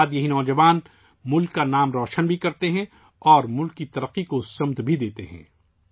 اس کے بعد یہ نوجوان ملک کا نام بھی روشن کرتے ہیں اور ملک کی ترقی کو سمت بھی دیتے ہیں